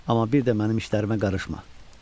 Amma bir də mənim işlərimə qarışma.